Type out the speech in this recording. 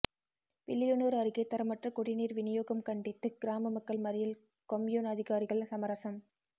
வில்லியனூர் அருகே தரமற்ற குடிநீர் விநியோகம் கண்டித்து கிராம மக்கள் மறியல் கொம்யூன் அதிகாரிகள் சமரசம்